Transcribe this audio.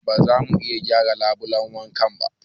Ba zamu iya gyara labulen wankan ba